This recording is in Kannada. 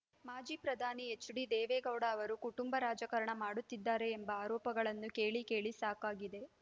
ಮಾಜಿ ಪ್ರಧಾನಿ ಹೆಚ್ಡಿ ದೇವೇಗೌಡ ಅವರು ಕುಟುಂಬ ರಾಜಕಾರಣ ಮಾಡುತ್ತಿದ್ದಾರೆ ಎಂಬ ಆರೋಪಗಳನ್ನು ಕೇಳಿ ಕೇಳಿ ಸಾಕಾಗಿದೆ